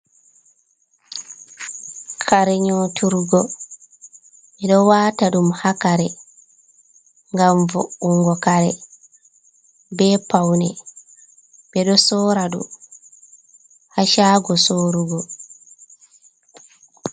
Kare nyoturgo, miɗo wata ɗum ha kare, gam vo’’ungo kare, be paune, ɓe ɗo sora ɗum ha shago sorugo.